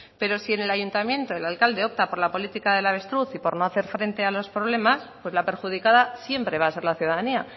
pero si en el ayuntamiento el alcalde opta por la política del avestruz y por no hacer frente a los problemas pues la perjudicada siempre va a ser la ciudadanía